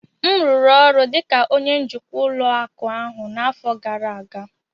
m rụrụ ọrụ dị ka onye njikwa ụlọ akụ ahụ n'afọ gara aga